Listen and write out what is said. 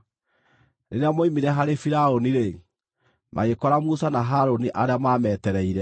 Rĩrĩa moimire harĩ Firaũni-rĩ, magĩkora Musa na Harũni arĩa maametereire,